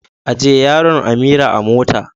Ajiye yaron Amira a mota.